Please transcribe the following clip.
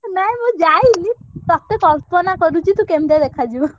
ନାଇଁ ମୁଁ ଯାଇନି ତତେ କଳ୍ପନା କରୁଚି ତୁ କେମିତିଆ ଦେଖା ଯିବୁ।